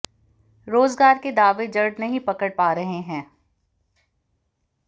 रोज़गार के दावे जड़ नहीं पकड़ पा रहे हैं